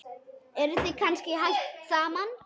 Eruð þið kannski hætt saman?